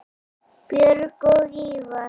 Björg og Ívar.